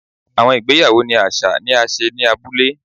Awọn igbeyawo ni aṣa ni a ṣe ni abule